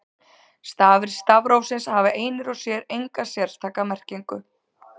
Stafir stafrófsins hafa einir og sér enga sérstaka merkingu.